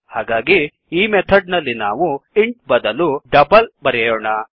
ಹಾಗಾಗಿ ಈ ಮೆಥಡ್ ನಲ್ಲಿ ನಾವು ಇಂಟ್ ಬದಲು ಡಬಲ್ ಬರೆಯೋಣ